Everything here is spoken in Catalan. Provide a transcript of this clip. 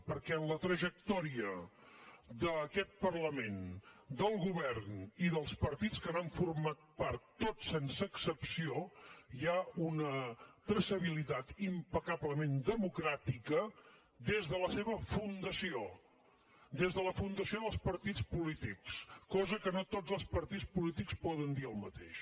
perquè en la trajectòria d’aquest parlament del govern i dels partits que n’han format part tots sense excepció hi ha una traçabilitat impecablement democràtica des de la seva fundació des de la fundació dels partits polítics cosa que no tots els partits polítics poden dir el mateix